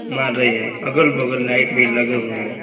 मार रही है अगल-बगल लाइट भी लगे हुए है।